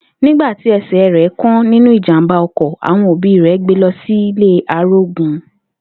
Nígbà ti e̩sè̩ rè̩ kán nínú ìjàmbá o̩kò̩, àwo̩n òbí rè̩ gbe lo̩ sílé àrógun